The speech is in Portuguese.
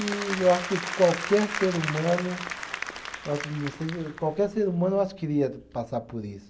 E eu acho que qualquer ser humano. qualquer ser humano eu acho que queria passar por isso.